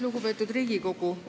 Lugupeetud Riigikogu!